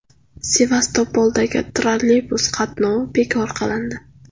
Sevastopolda trolleybus qatnovi bekor qilindi.